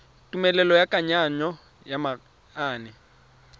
tumelelo ya kananyo ya manane